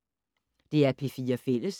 DR P4 Fælles